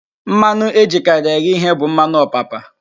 Mmanụ ejikarị eghe ihe bụ mmanụ ọpapa